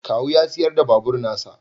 Kawu ya sayar da babur na sa